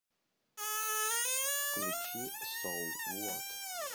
включи соу вот